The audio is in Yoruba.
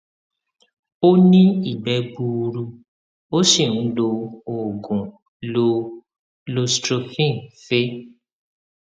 ó ní ìgbẹ gbuuru ó sì ń lo oògùn lo loestrin fe